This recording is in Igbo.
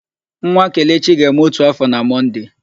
Nwa Kelechi ga-eme ótù áfọ̀ na Mọnde.